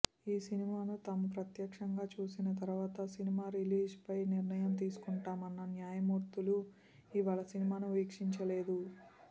ఈ సినిమాను తాము ప్రత్యక్షంగా చూసిన తర్వాత సినిమా రిలీజ్పై నిర్ణయం తీసుకుంటామన్న న్యాయమూర్తులు ఇవాళ సినిమాను వీక్షించలేదు